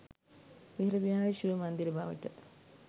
වෙහෙර විහාර සිව මන්දිර බවට